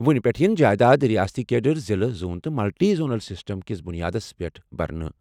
وۄنہِ پیٚٹھٕ یِن جائیداد ریاستی کیڈر، ضِلعہٕ، زون تہٕ ملٹی زونل سسٹم کِس بُنیادس پیٚٹھ بٔرنہٕ۔